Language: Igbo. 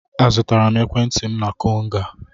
Azụtara m ekwentị m na Konga.